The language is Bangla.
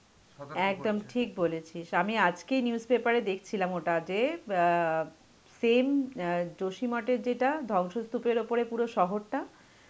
একদম ঠিক বলেছিস. আমি আজকেই news paper এ দেখছিলাম ওটা যে অ্যাঁ same অ্যাঁ জসিম মাঠের যেটা ধ্বংসস্তূপের ওপরে পুরো শহরটা